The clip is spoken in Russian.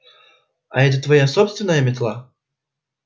а это твоя собственная метла